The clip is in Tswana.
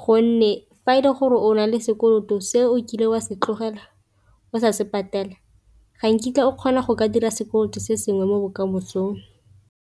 gonne fa e le gore o nale sekoloto se o kile wa se tlogela o sa se patela ga nkitla o kgona go ka dira sekoloto se sengwe mo bokamosong.